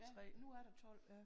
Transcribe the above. Ja men nu er der 12